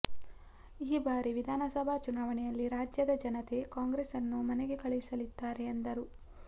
ಈ ಬಾರಿ ವಿಧಾನಸಭಾ ಚುನಾವಣೆಯಲ್ಲಿ ರಾಜ್ಯ್ಯದ ಜನತೆ ಕಾಂಗ್ರೆಸ್ ನ್ನು ಮನೆಗೆ ಕಳುಹಿಸಲಿದ್ದಾರೆ ಎಂದರು